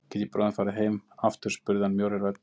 Get ég bráðum farið heim aftur spurði hann mjórri röddu.